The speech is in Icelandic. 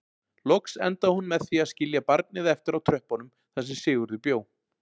Loks endaði hún með því að skilja barnið eftir á tröppunum þar sem Sigurður bjó.